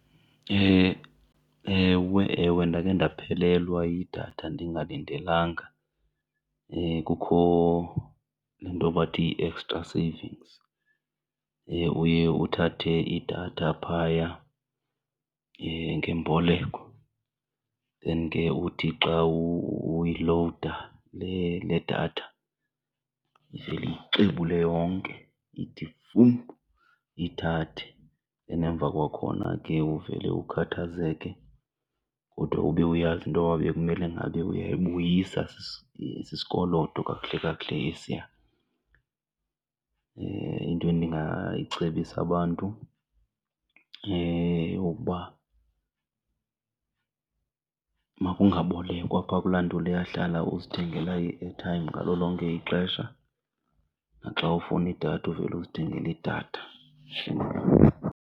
Ewe, ewe, ndakhe ndaphelelwa yidatha ndingalindelanga. Kukho into bathi yi-extra savings, uye uthathe idatha phaya ngemboleko then ke uthi xa uyilowuda le, le datha ivele iyixebule yonke iyithi vum iyithathe. Then emva kwakhona ke uvele ukhathazeke kodwa ube uyazi intoba bekumele ngabe uyayibuyisa, sisikoloto kakuhle kakuhle esiya. Into endingayicebisa abantu yeyokuba makungabolekwa phoa kula nto leya, hlala uzithengela i-airtime ngalo lonke ixesha naxa ufuna idatha uvele uzithengele idatha.